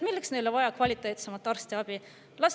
Milleks neile on vaja kvaliteetsemat arstiabi?